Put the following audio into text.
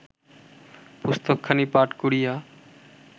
পুস্তকখানি পাঠ করিয়া